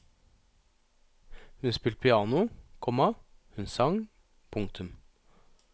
Hun spilte piano, komma hun sang. punktum